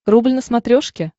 рубль на смотрешке